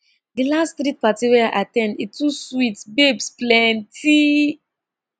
di last street party wey i at ten d e too sweet babes plenty